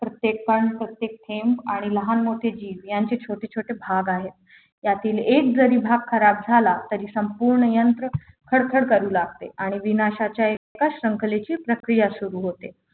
प्रत्येक पान प्रत्येक थेंब आणि लहान मोठे जीव यांचे छोटे छोटे भाग आहेत यातील एक जरी भाग खराब झाला तरी संपूर्ण यंत्र खरखर करू लागते आणि विनाशाच्या एका शंखलेची प्रक्रिया सुरू होते